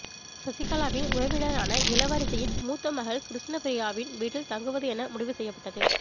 சசிகலாவின் உறவினரான இளவரசியின் மூத்த மகள் கிருஷ்ணப்பிரியாவின் வீட்டில் தங்குவது என முடிவு செய்யப்பட்டது